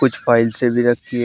File से भी रखी है।